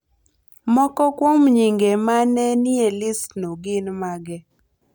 Moko kuom nyinge ma ne nie listno gin mage?